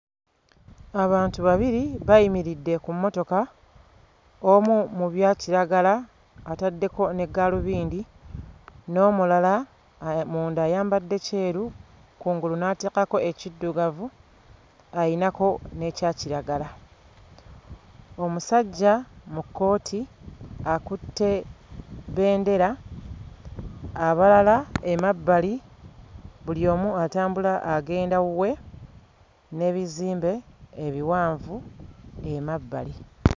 Abantu babiri bayimiridde ku mmotoka, omu mu byakiragala ataddeko ne gaalubindi n'omulala munda ayambadde kyeru kungulu n'ateekako ekiddugavu, alinako n'ekyakiragala. Omusajja mu kkooti akutte bendera, abalala emabbali buli omu atambula agenda wuwe n'ebizimbe ebiwanvu emabbali.